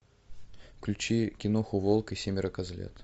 включи киноху волк и семеро козлят